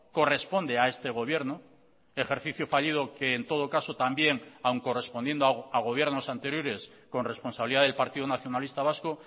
corresponde a este gobierno ejercicio fallido que en todo caso también aun correspondiendo a gobiernos anteriores con responsabilidad del partido nacionalista vasco